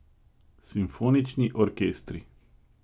Simfonični orkestri.